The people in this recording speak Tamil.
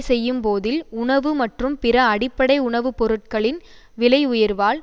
செய்யும் போதில் உணவு மற்றும் பிற அடிப்படை உணவுபொருட்களின் விலையுயர்வால்